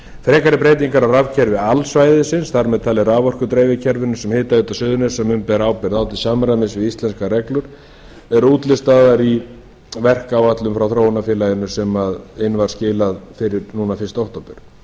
frekari breytingar á rafkerfi alsvæðisins þar með talið raforkudreifikerfinu sem hitaveita suðurnesja mun bera ábyrgð á til samræmis við íslenskar reglur eru útlistaðar í verkáætlun frá þróunarfélaginu sem inn var skilað núna fyrsta október